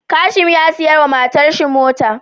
Kashim ya siya wa matar shi mota